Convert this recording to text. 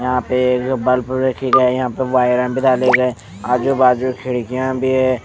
यहाँं पे गोपालपुर रखी गए यहाँं पे वायर भी डाले गए आजू-बाजू खिड़कियाँं भी हैं।